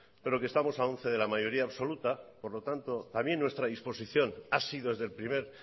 pero que estamos a once de la mayoría absoluta por lo tanto también nuestra disposición ha sido desde el primer